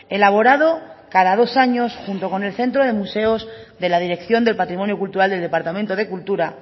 elaborado cada dos años junto con el centro de museos de la dirección del patrimonio cultural del departamento de cultura